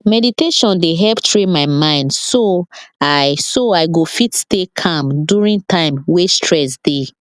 meditation dey help train my mind so i so i go fit stay calm during time wey stress dey